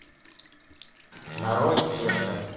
нарой светка